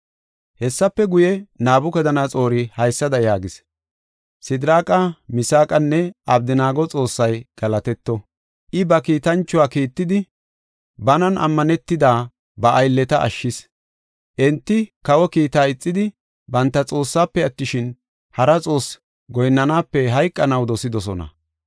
Hessafe guye, Nabukadanaxoori haysada yaagis: “Sidiraaqa, Misaaqanne Abdanaago Xoossay galatetto. I, ba kiitanchuwa kiittidi, banan ammanetida, ba aylleta ashshis. Enti kawa kiita ixidi, banta Xoossaafe attishin, hara xoosse goyinnanaape hayqanaw dosidosona.